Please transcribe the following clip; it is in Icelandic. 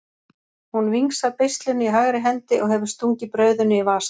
Hún vingsar beislinu í hægri hendi og hefur stungið brauðinu í vasann.